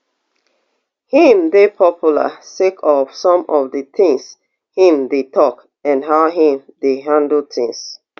im dey popular sake of some of di tins im dey tok and how im dey handle tins